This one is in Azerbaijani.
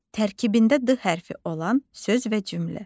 Tərkibində D hərfi olan söz və cümlə.